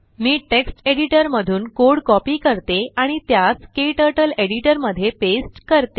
मी text editor मधून code copy करते आणि त्यास क्टर्टल एडिटर मध्ये पेस्ट करते